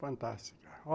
Fantástica.